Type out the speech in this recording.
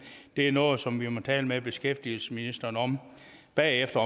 det er noget som vi må tale med beskæftigelsesministeren om bagefter